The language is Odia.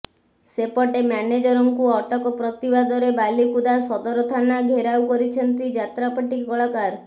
ସେପଟେ ମ୍ୟାନେଜରଙ୍କୁ ଅଟକ ପ୍ରତିବାଦରେ ବାଲିକୁଦା ସଦର ଥାନା ଘେରାଉ କରିଛନ୍ତି ଯାତ୍ରାପାର୍ଟି କଳାକାର